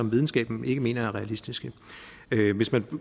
videnskaben ikke mener er realistiske hvis man